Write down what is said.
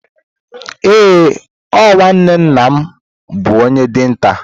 Ee o, nwanne nna m bụ onye dinta.